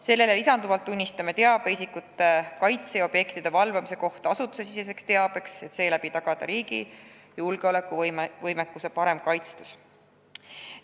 Sellele lisanduvalt tunnistame teabe isikute kaitse ja objektide valvamise kohta asutusesiseseks teabeks, et seeläbi tagada riigi julgeolekuvõimekuse parem kaitstus.